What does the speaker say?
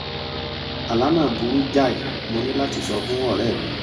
àlá náà burú jáì mo ní láti sọ fún ọ̀ré̩ mi